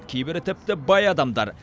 кейбірі тіпті бай адамдар